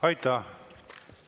Aitäh!